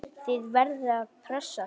Þið verðið að pressa þá!